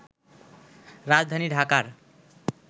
রাজধানী ঢাকার